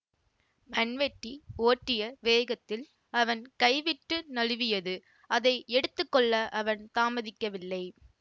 மண்வெட்டி ஓட்டிய வேகத்தில் அவன் கைவிட்டு நழுவியது அதை எடுத்து கொள்ள அவன் தாமதிக்கவில்லை